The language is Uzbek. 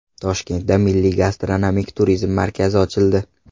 Toshkentda milliy gastronomik turizm markazi ochildi.